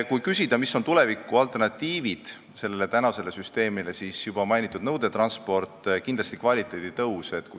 Kui küsida, mis on tulevikualternatiivid tänasele süsteemile, siis nendeks on juba mainitud nõudetransport ja kindlasti kvaliteedi tõus.